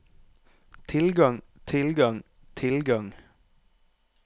tilgang tilgang tilgang